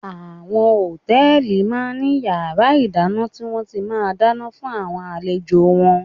Àwọn Hòtẹ́lìì máa ń ní yàrá ìdáná tí wón ti máa ń dáná fún àwọn àlejò wọn.